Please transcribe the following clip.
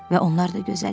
Və onlar da gözəl idi.